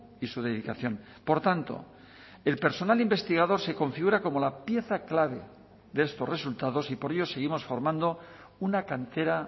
y su dedicación por tanto el personal investigador se configura como la pieza clave de estos resultados y por ello seguimos formando una cantera